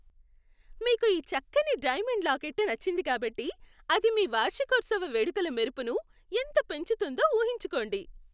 మీకు ఈ చక్కని డైమండ్ లాకెట్టు నచ్చింది కాబట్టి, అది మీ వార్షికోత్సవ వేడుకల మెరుపును ఎంత పెంచుతుందో ఊహించుకోండి.